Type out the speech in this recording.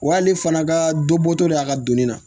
Wa hali fana ka dɔ bɔtɔ de y'a ka doni na